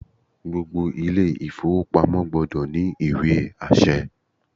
Gbogbo ilé ìfowópamọ́ gbọdọ̀ ní ìwé àṣẹ